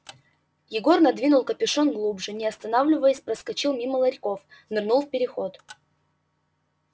егор надвинул капюшон глубже не останавливаясь проскочил мимо ларьков нырнул в переход